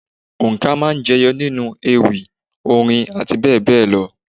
Òǹkà máa ń jẹyọ nínú ewì, orin àti bẹ́ẹ̀ bẹẹ lọ.